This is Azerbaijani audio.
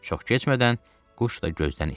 Çox keçmədən quş da gözdən itdi.